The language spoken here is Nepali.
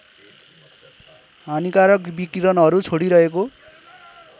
हानिकारक विकिरणहरू छोडिरहेको